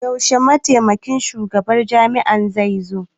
Yaushe Mataimakin Shugaban Jami'ar zai zo?